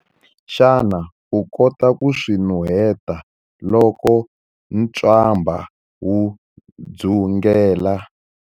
Xana u kota ku swi nuheta loko ntswamba wu dzungela?